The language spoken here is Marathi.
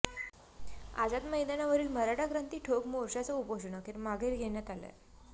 आझाद मैदानावरील मराठा क्रांती ठोक मोर्चाचं उपोषण अखेर मागे घेण्यात आलंय